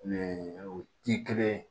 o ti kelen ye